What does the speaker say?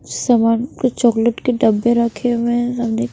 सामान तो चॉकलेट के डब्बे रखे हुए हैं।